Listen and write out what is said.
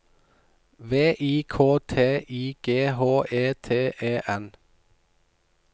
V I K T I G H E T E N